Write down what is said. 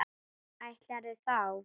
Ætlarðu þá?